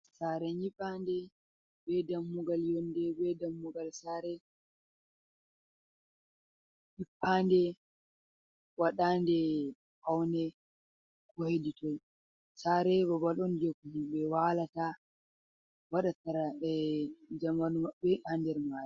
Tsare nyiɓande be dammugal yonde be dammugal sare, nyiɓade waɗade paune ko heditoi, sarei babal on je himɓe wa'blata waɗata jamanu maɓɓe hander mare.